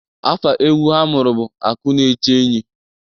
Afa egwu ha mụrụ bụ akụ na-eche enyi.